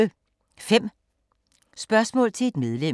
5 spørgsmål til et medlem